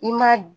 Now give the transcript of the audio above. I ma